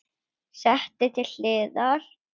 Sett til hliðar.